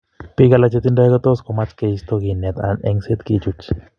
Biik alak chetindo kotos komach keisto kinet anan engset kichuch.